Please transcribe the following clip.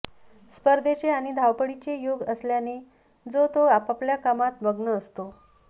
स्पर्धेचे आणि धावपळीचे युग असल्याने जो तो आपापल्या कामात मग्न असतो